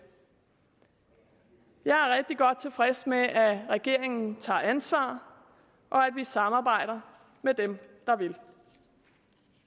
jeg er rigtig godt tilfreds med at regeringen tager ansvar og at vi samarbejder med dem